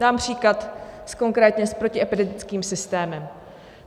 Dám příklad konkrétně s protiepidemickým systémem.